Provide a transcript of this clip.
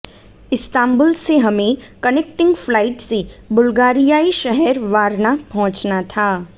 Istanbul से हमें connecting flight से बुल्गारियाई शहर वारना पहुंचना था